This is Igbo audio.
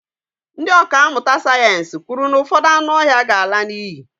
ndị ọkà mmụta sayensị kwuru na ụfọdụ anụ ọhịa ga-ala n'iyi